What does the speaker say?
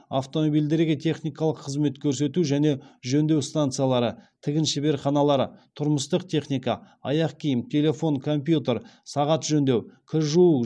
автомобильдерге техникалық қызмет көрсету және жөндеу станциялары тігін шеберханалары тұрмыстық техника аяқ киім телефон компьютер сағат жөндеу кір жуу